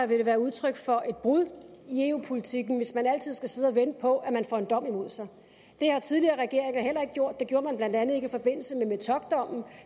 det være udtryk for et brud i eu politikken hvis man altid skal sidde og vente på at man får en dom imod sig det har tidligere regeringer heller ikke gjort det gjorde man blandt andet ikke i forbindelse med metockdommen